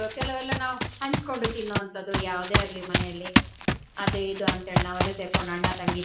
ಕೆಲೆವೆಲ್ಲ ನಾವು ಹಂಚ್ಕೊಂಡು ತಿನ್ನುವಂತದ್ದು ಯಾವುದೇ ಆಗ್ಲಿ ಮನೆಯಲ್ಲಿ ಅದು ಇದು ಅಂತ್ ಹೇಳಿ ನಾವೆಲ್ಲಾ ಸೇರ್ಕಂಡು ಅಣ್ಣ, ತಂಗಿ